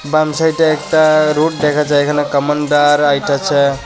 বাম সাইডে একতা রোড দেখা যায় এখানে কামানদার আইতাছে।